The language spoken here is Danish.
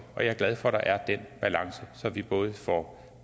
og jeg er glad for at der er den balance så vi både får